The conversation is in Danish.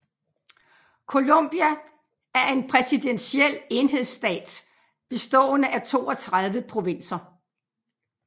Colombia er en præsidentiel enhedsstat bestående af 32 provinser